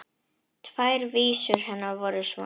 Tvær vísur hennar voru svona: